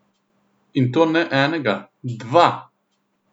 In to ne enega, dva!